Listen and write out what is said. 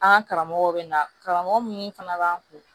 An ka karamɔgɔw bɛ na karamɔgɔ minnu fana b'an kun